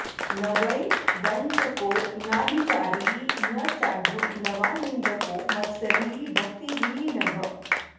न वै वञ्चको नाभिचारी न चाढ्यो न वा निन्दको मत्सरी भक्तिहीनः